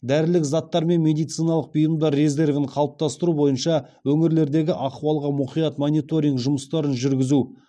дәрілік заттар мен медициналық бұйымдар резервін қалыптастыру бойынша өңірлердегі ахуалға мұқият мониторинг жұмыстарын жүргізу